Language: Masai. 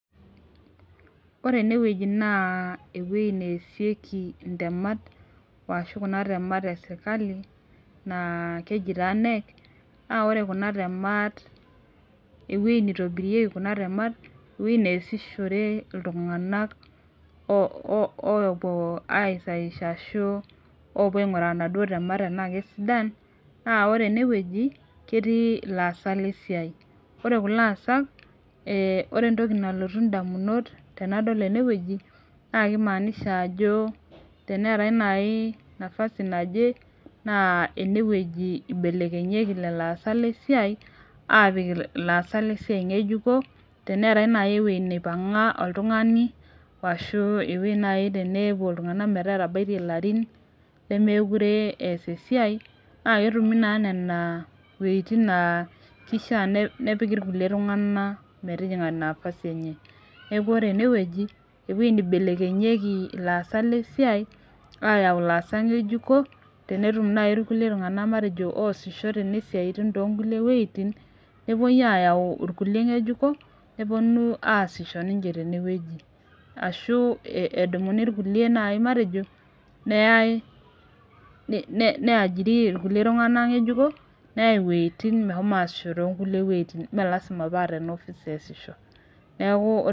Ore enewueji na eweuji naasieki intemat ashu kuna temat eserkali na keji na knec na ore kuja temat ore ewoi naitobirieki kunabtemat ewoj naasishoreki ltunganak opuo aisaisha ashu opuo ainguraa naduo temat ana kesidan na ore enewueji naketii laasak lesiai ore kulo asak ore enrtoki nalotu ndamunot tanadol enewueji na kimaanisha ajo teneetae naj nafasi naje na enewueji ibelekemyi laasak lesiai apik laasak lesiai ngejuko teneetae naibewoi nipanga oltungani ashu ewoi nai nepuo ltunganak metaa etabaitie larin lemekure eas esiai na ketumi nona wuetin na kisha nepiki irkulie tunganak metijinga nafasi enyeneaku ore enewueji ewueji naibelekenyieki laasak lesiai ayau laasak ngejuko tenetum na irkulie tunganak oasisho tenebsiatin tonkulie wuejitin nepuoi ayau irkulie ngejuko neponu aasisho tenewueji ashubedumuni irkulie neyae niajiri ikulikae tunganak ng juko neyai wuejitin meshomouta aisho tonkulie wuejitin melasima pa tenewueji epuo aasisho neaku ore.